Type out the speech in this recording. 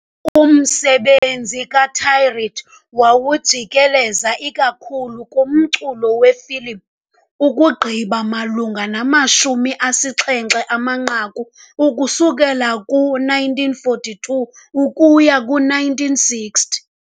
Umsebenzi kaThiriet wawujikeleza ikakhulu kumculo wefilimu, ukugqiba malunga namashumi asixhenxe amanqaku ukusuka ku-1942 ukuya ku-1960.